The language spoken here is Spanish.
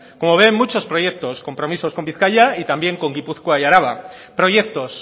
como ven muchos proyectos compromisos con bizkaia y también con gipuzkoa y araba proyectos